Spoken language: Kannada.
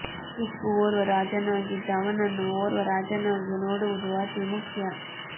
ಟಿಪ್ಪು ಒರ್ವ ರಾಜನಾಗಿದ್ದ ಅವನನ್ನು ಒರ್ವ ರಾಜನಾಗಿ ನೋಡುವುದು ಅತೀ ಮುಖ್ಯ